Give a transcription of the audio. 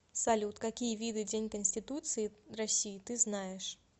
салют какие виды день конституции россии ты знаешь